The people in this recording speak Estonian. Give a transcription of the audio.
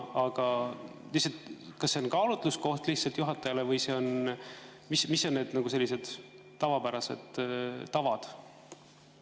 Aga lihtsalt, kas see on kaalutluskoht juhatajale või mis on need tavapärased tavad?